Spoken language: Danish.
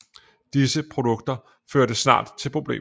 Disse produkter førte snart til problemer